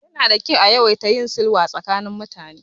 Yana da kyau a ringa yin sulhu tsakanin mutane.